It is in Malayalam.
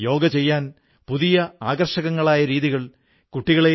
ബാബാസാഹബ് അംബേഡ്കറെപ്പോലുള്ള മഹാ വിഭൂതികളുണ്ടായിരുന്നു